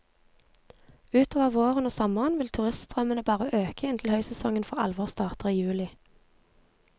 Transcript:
Utover våren og sommeren vil turiststrømmen bare øke inntil høysesongen for alvor starter i juli.